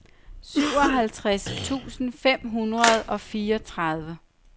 syvoghalvtreds tusind fem hundrede og fireogtredive